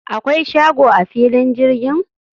akwai shago a filin jirgin?